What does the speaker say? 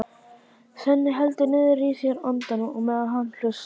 Svenni heldur niðri í sér andanum á meðan hann hlustar.